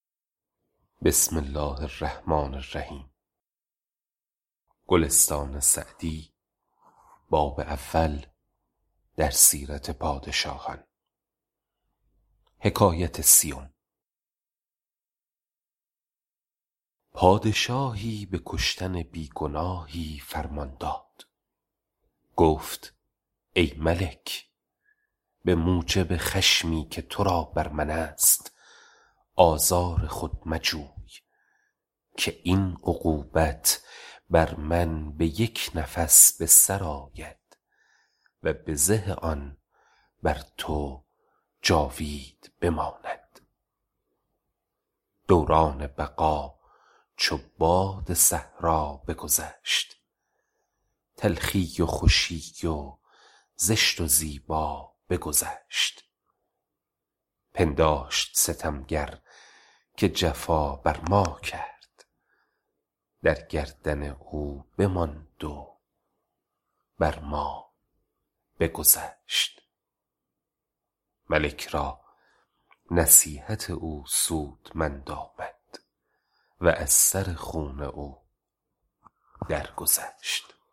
پادشاهی به کشتن بی گناهی فرمان داد گفت ای ملک به موجب خشمی که تو را بر من است آزار خود مجوی که این عقوبت بر من به یک نفس به سر آید و بزه آن بر تو جاوید بماند دوران بقا چو باد صحرا بگذشت تلخی و خوشی و زشت و زیبا بگذشت پنداشت ستمگر که جفا بر ما کرد در گردن او بماند و بر ما بگذشت ملک را نصیحت او سودمند آمد و از سر خون او در گذشت